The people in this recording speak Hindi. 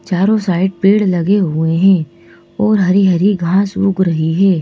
चारों साइड पेड़ लगे हुएं हैं और हरी हरी घास उग रही हैं।